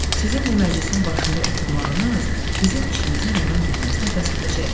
Sizin bu məclisin başında oturmağınız bizim işimizin rəvan getməsinə bəs edəcək.